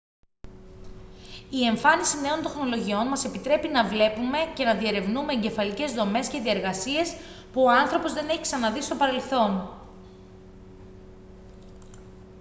η εμφάνιση νέων τεχνολογιών μας επιτρέπει να βλέπουμε και να διερευνούμε εγκεφαλικές δομές και διεργασίες που ο άνθρωπος δεν έχει ξαναδεί στο παρελθόν